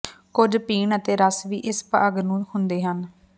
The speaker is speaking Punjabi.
ਕੁਝ ਪੀਣ ਅਤੇ ਰਸ ਵੀ ਇਸ ਭਾਗ ਨੂੰ ਹੁੰਦੇ ਹਨ